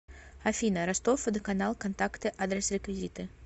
афина ростов водоканал контакты адрес реквизиты